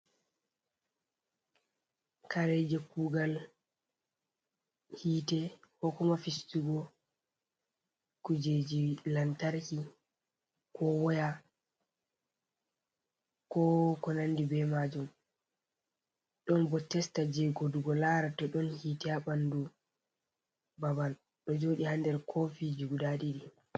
Kare je kugal hitte ko kuma fistugo kujeji lantarki ko woya ko ko nandi be majum, ɗon bo testa je godugo lara to ɗon hitte ha ɓandu babal ɗo joɗi ha nder kofi jug guda ɗiɗi.